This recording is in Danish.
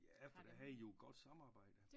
Ja for der havde i jo godt samarbejde